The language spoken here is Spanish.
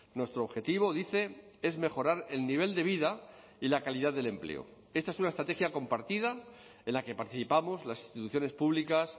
nuestro objetivo dice es mejorar el nivel de vida y la calidad del empleo esta es una estrategia compartida en la que participamos las instituciones públicas